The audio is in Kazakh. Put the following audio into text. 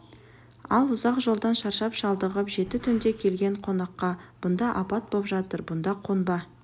ал ұзақ жолдан шаршап-шалдығып жеті түнде келген қонаққа бұнда апат боп жатыр бұнда қонба